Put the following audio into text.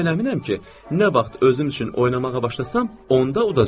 Mən tamamilə əminəm ki, nə vaxt özüm üçün oynamağa başlasam, onda udacam.